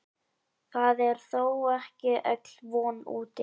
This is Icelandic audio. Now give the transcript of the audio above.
Það er þó ekki öll von úti.